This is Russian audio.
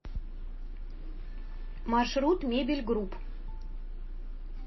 маршрут мебель групп